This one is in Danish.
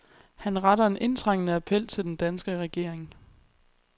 Han retter en indtrængende appel til den danske regering.